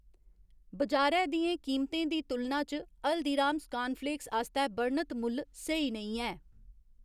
बजारै दियें कीमतें दी तुलना च हल्दीराम्स कानफ्लेक्स आस्तै बर्णत मुल्ल स्हेई नेईं ऐ।